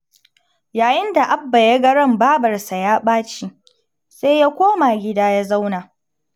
Yayin da Abba ya ga ran babarsa ya ɓaci, sai ya koma gida ya zauna.